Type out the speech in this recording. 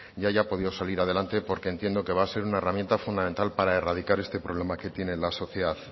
y haya podido salir adelante porque entiendo que va a ser una herramienta fundamental para erradicar este problema que tiene la sociedad